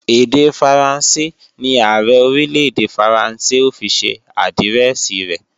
Èdè Faransé ní Ààrẹ Orílè-èdè Faransé ó fi ṣe àdírẹ́ẹ̀sì rẹ̀